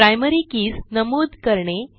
primary keys नमूद करणे